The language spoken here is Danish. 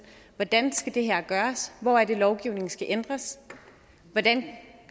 hvordan skal det her gøres hvor er det lovgivningen skal ændres hvordan